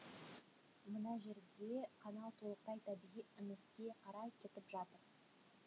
мына жерде канал толықтай табиғи еңіске қарай кетіп жатыр